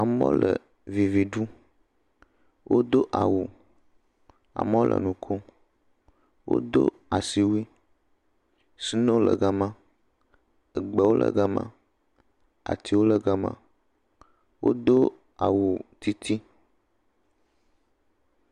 Amewo le vivi ɖum. Wodo awu, ameow le nu kom. Wodo asiwui, sinoo le gama, egbewo le gama, atiwo le gama. Wodo awu titi.